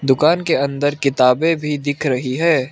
दुकान के अंदर किताबें भी दिख रही है।